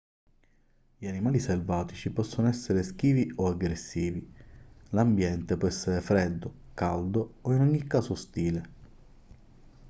gli animali selvatici possono essere schivi o aggressivi l'ambiente può essere freddo caldo o in ogni caso ostile